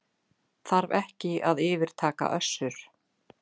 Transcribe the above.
Þarf ekki að yfirtaka Össur